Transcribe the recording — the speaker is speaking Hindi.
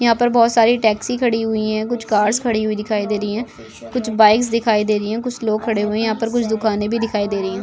यहाँ पर बहुत सारी टैक्सी खड़ी हुई है कुछ कार्स खड़ी हुई दिखाई दे रही है कुछ बाइक्स दिखाई दे रही है कुछ लोग खड़े हुए है यहाँ पर कुछ दुकाने भी दिखाई दे रही है।